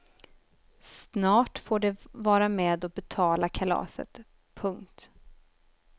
Snart får de vara med och betala kalaset. punkt